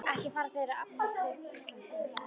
Ekki fara þeir að abbast upp á Íslendinga, eða hvað?